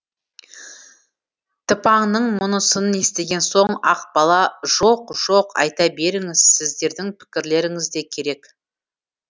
тыпаңның мұнысын естіген соң ақбала жоқ жоқ айта беріңіз сіздердің пікірлеріңіз де керек